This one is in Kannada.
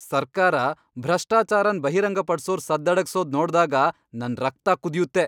ಸರ್ಕಾರ ಭ್ರಷ್ಟಾಚಾರನ್ ಬಹಿರಂಗಪಡ್ಸೋರ್ ಸದ್ದಡಗ್ಸೋದ್ ನೋಡ್ದಾಗ ನನ್ ರಕ್ತ ಕುದಿಯತ್ತೆ.